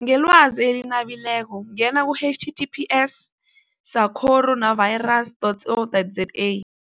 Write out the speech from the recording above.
Ngelwazi eli nabileko ngena ku-H T T P S sacoro navirus dot C O dot Z A.